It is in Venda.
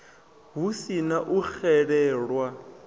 hu si na u xelelwa